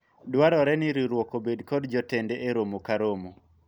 dwarore ni riwruok obed kod jotende e romo ka romo